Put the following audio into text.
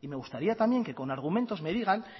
y me gustaría también que con argumentos me digan